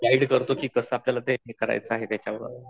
guide करतो कि कसा आपलयाला ते हे करायचं आहे त्याच्यावर